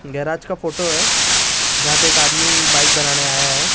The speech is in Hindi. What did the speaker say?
गैराज का फोटो हैं जहाँ पे एक आदमी बाइक बनाने आया हैं ।